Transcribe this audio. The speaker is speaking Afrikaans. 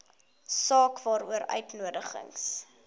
saak waaroor uitnodigings